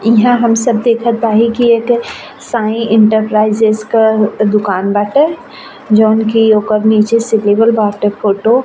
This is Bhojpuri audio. इहां हम सब देखत अहि की एक ठे साई इंटरप्राइजेज क दुकान बाटे जोन की ओकर नीचे से देवल बाटे फोटो --